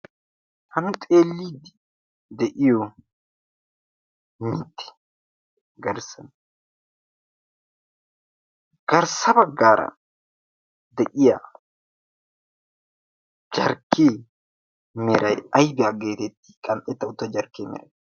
hammi xeellii de'iyo mitti garssan garssaba gaara de'iya carkkee merai aibiyaa geetetti qan''etta utta jarkkee meray